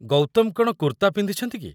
ଗୌତମ କ'ଣ କୁର୍ତ୍ତା ପିନ୍ଧିଛନ୍ତି କି?